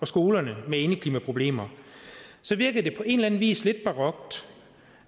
skolerne med indeklimaproblemer virkede det på en eller anden vis lidt barokt